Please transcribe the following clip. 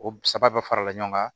O saba bɛɛ farala ɲɔgɔn kan